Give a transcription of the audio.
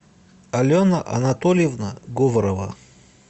алена анатольевна говорова